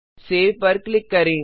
save पर click करें